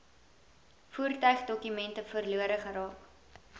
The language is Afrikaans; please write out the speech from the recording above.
voertuigdokumente verlore geraak